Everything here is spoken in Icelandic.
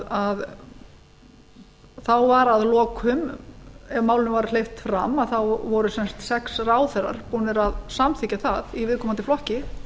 framsóknarflokknum þá var að lokum ef málinu var hleypt fram þá voru sex ráðherrar búnir að samþykkja það í viðkomandi flokki